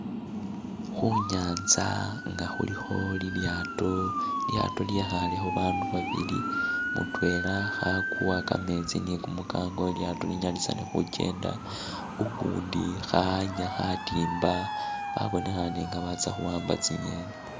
Khunyanza nga khulikho lilyaato, lilyaato lyekhaalekho babandu babili, mutwela khakuwa kameetsi ni kumukango lilyaato linyalisane khukenda, ukundi khawanya khatimba, babonekhane nga batsa khuwamba tsi'ngeni